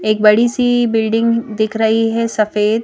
एक बड़ी सी बिल्डिंग दिख रही है सफेद--